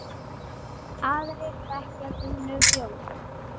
Aðrir þegja þunnu hljóði.